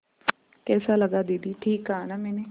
कैसा लगा दीदी ठीक कहा न मैंने